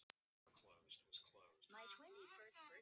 Lá þannig lengi og sagði ekki eitt einasta orð.